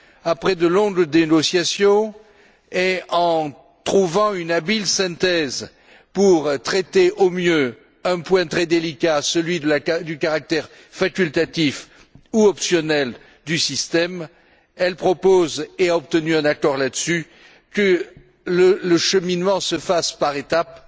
Après de longues négociations et en trouvant une habile synthèse pour traiter au mieux un point très délicat, celui du caractère facultatif ou optionnel du système, elle propose et a obtenu un accord là dessus que le cheminement se fasse par étapes,